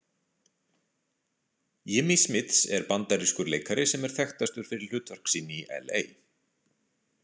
Jimmý Smits er bandarískur leikari sem er þekktastur fyrir hlutverk sín í L.A.